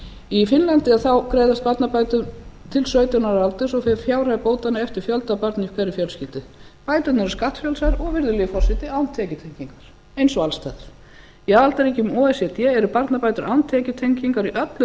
í finnlandi greiðast barnabætur til sautján ára aldurs og fer fjárhæð bótanna eftir fjölda barna í hverri fjölskyldu bæturnar eru skattfrjálsar og virðulegi forseti án tekjutengingar eins og alls staðar í aðildarríkjum o e c d eru barnabætur án tekjutengingar í öllum